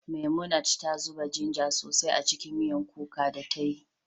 Memunant ta zuba ginger sosai a cikin miyan kuka da ta yi